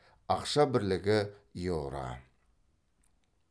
ақша бірлігі еуро